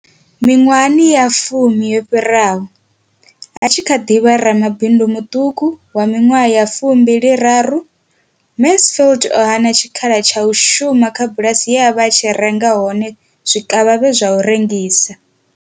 Miṅwaha ya fumi yo fhiraho, a tshi kha ḓi vha ramabindu muṱuku wa miṅwaha ya 23, Mansfield o hana tshikhala tsha u shuma kha bulasi ye a vha a tshi renga hone zwikavhavhe zwa u rengisa.